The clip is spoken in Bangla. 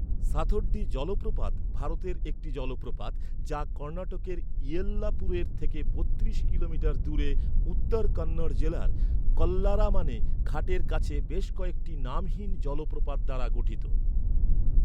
সাথোড্ডি জলপ্রপাত ভারতের একটি জলপ্রপাত যা কর্ণাটকের ইয়েল্লাপুরের থেকে বত্রিশ কিলোমিটার দূরে উত্তর কন্নড় জেলার কল্লারামানে ঘাটের কাছে বেশ কয়েকটি নামহীন জলপ্রপাত দ্বারা গঠিত।